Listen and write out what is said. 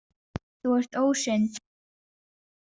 Þú ert ósynd.